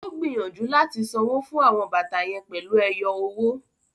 O gbìyànjú láti sanwó fún àwọn bàtà yén pèlú ẹyọ owó